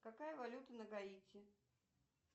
какая валюта на гаити